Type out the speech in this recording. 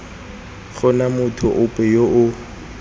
gona motho ope yo o